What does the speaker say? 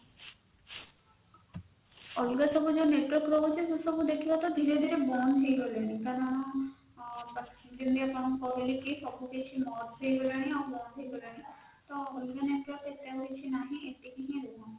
ଅଲାଗ ଯୋଉ ସବୁ network ରହୁଛି ସେସବୁ ଦେଖିବା ତ ଧୀରେ ଧୀରେ ବନ୍ଦ ହେଇଗଲାଣି କାରଣ ଯେମିତି ଆପଣଙ୍କୁ କହିଲି କି ସବୁକିଛି merge ହେଇଗଲାଣି ବନ୍ଦ ହେଇଗଲାଣି ତ ଅଲଗା network ଆଉ ଏତେ କିଛି ନାହିଁ ଏତିକି ହି ରହିବ